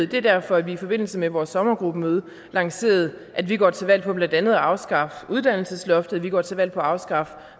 det er derfor vi i forbindelse med vores sommergruppemøde lancerede at vi går til valg på blandt andet at afskaffe uddannelsesloftet vi går til valg på at afskaffe